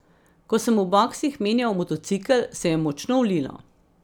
Ko sem v boksih menjal motocikel, se je močno vlilo.